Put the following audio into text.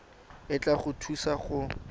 e tla go thusa go